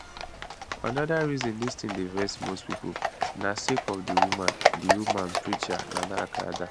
anoda reason dis tin dey vex most pipo na sake of di woman di woman preacher nana agradaa